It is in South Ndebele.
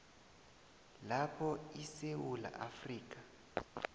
lapho isewula afrika